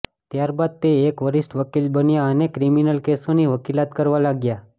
ત્યારબાદ તે એક વરિષ્ઠ વકીલ બન્યા અને ક્રિમિનલ કેસોની વકીલાત કરવા લાગ્યા